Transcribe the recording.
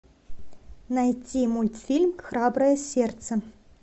найти мультфильм храброе сердце